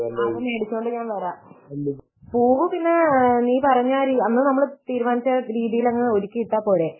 ആഹ് അത് മേടിച്ചോണ്ടു ഞാൻ വരാം . പൂവ് പിന്നെ നീ പറഞ്ഞ അന്ന് നമ്മൾ തീരുമാനിച്ച രീതിയിൽ അങ്ങ് ഒരുക്കി ഇട്ടാല്പോരെ